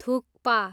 thukpa